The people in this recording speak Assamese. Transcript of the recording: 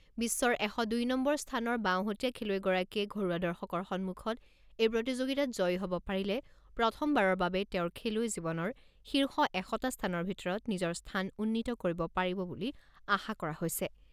বিশ্বৰ এশ দুই নম্বৰ স্থানৰ বাওহতীয়া খেলুৱৈগৰাকীয়ে ঘৰুৱা দৰ্শকৰ সন্মুখত এই প্ৰতিযোগিতাত জয়ী হ'ব পাৰিলে প্ৰথমবাৰৰ বাবে তেওঁৰ খেলুৱৈ জীৱনৰ শীৰ্ষ এশটা স্থানৰ ভিতৰত নিজৰ স্থান উন্নীত কৰিব পাৰিব বুলি আশা কৰা হৈছে।